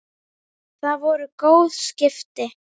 Það voru góð skipti.